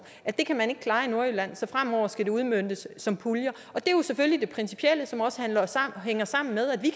at det kan man ikke klare i nordjylland så fremover skal det udmøntes som puljer det er jo selvfølgelig det principielle som også hænger sammen med at vi